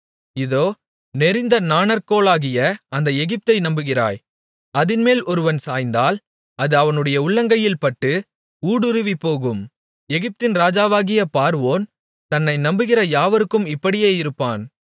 இதோ நெரிந்த நாணற்கோலாகிய அந்த எகிப்தை நம்புகிறாய் அதின்மேல் ஒருவன் சாய்ந்தால் அது அவனுடைய உள்ளங்கையில் பட்டு ஊடுருவிப்போகும் எகிப்தின் ராஜாவாகிய பார்வோன் தன்னை நம்புகிற யாவருக்கும் இப்படியே இருப்பான்